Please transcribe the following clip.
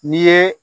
N'i ye